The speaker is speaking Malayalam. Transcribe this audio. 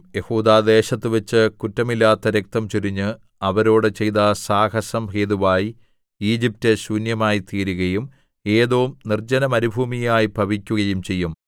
യെഹൂദാദേശത്തുവച്ച് കുറ്റമില്ലാത്ത രക്തം ചൊരിഞ്ഞ് അവരോടു ചെയ്ത സാഹസം ഹേതുവായി ഈജിപ്റ്റ് ശൂന്യമായിത്തീരുകയും ഏദോം നിർജ്ജനമരുഭൂമിയായി ഭവിക്കുകയും ചെയ്യും